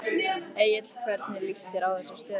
Egill hvernig líst þér á þessa stöðu?